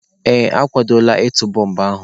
Ee, akwadola ịtụ bọmbụ ahụ.